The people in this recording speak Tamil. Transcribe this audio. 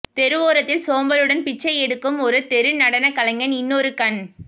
தெருவோரத்தில் சோம்பலுடன் பிச்சை எடுக்கும் ஒரு தெரு நடன கலைஞன் இன்னொரு கண்